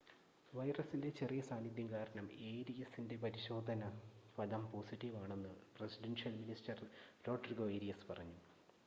വൈറസിൻ്റെ ചെറിയ സാന്നിദ്ധ്യം കാരണം ഏരിയസിൻ്റെ പരിശോധന ഫലം പോസിറ്റീവ് ആണെന്ന് പ്രസിഡൻഷ്യൽ മിനിസ്റ്റർ റോഡ്രിഗോ ഏരിയസ് പറഞ്ഞു